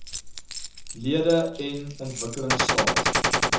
lede n ontwikkelingstaat